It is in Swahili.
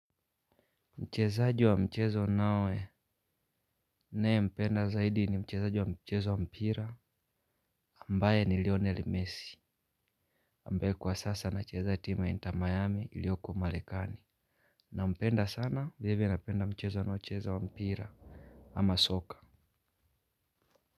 Mchezaji wa mchezo naye, mpenda zaidi ni mchezaji wa mchezo wa mpira, ambaye ni lionel mesi, ambaye kwa sasa anacheza timu ya intamayami iliyokua umarekani. Nampenda sana, vile vile napenda mchezo anao cheza wa mpira, ama soka.